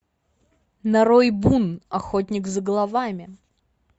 нарой бун охотник за головами